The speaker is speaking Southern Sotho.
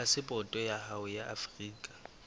phasepoto ya hao ya afrika